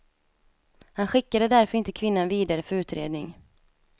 Han skickade därför inte kvinnan vidare för utredning.